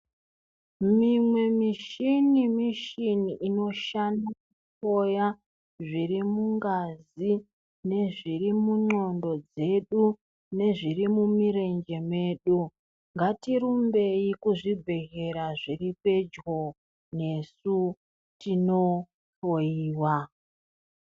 Mimwe mishini, mishini inoshandiswa kuhloya zviri mungazi nezviri mundxondo dzedu. Nezviri mumurenje medu ngatirumbei kuzvibhedhlera zviri pedyo nesu tinohloiwa.